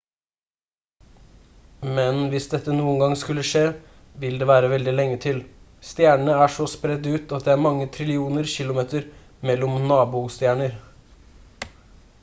men hvis dette noen gang skulle skje vil det være veldig lenge til. stjernene er så spredt ut at det er mange trillioner kilometer mellom «nabo»-stjerner